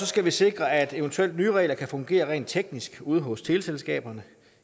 skal vi sikre at eventuelle nye regler kan fungere rent teknisk ude hos teleselskaberne